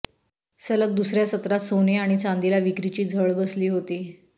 सलग दुसऱ्या सत्रात सोने आणि चांदीला विक्रीची झळ बसली होती